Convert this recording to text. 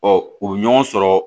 u bɛ ɲɔgɔn sɔrɔ